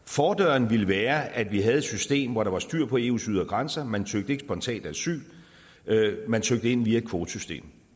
fordøren ville være at vi havde et system hvor der var styr på eus ydre grænser man søgte ikke spontant asyl man søgte ind via et kvotesystem